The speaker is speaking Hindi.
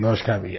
नमस्कार भईया